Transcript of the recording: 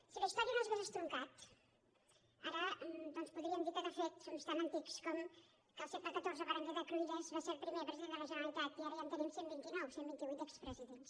si la història no s’hagués estroncat ara podríem dir que de fet som tan antics que al segle xiv berenguer de cruïlles va ser el primer president de la generalitat i ara ja en tenim cent i vint nou cent i vint vuit expresidents